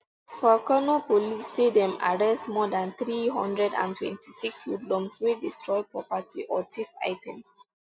for kano police say dem arrest more dan three hundred and twenty-six hoodlums wey destroy property or thief items